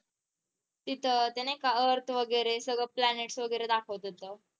तिथं ते नाही का earth वगैरे सगळ planets वगैरे दाखवलं होतं.